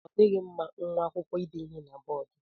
Ọ dịghị mma nwa akwụkwọ ide ihe na bọọdu.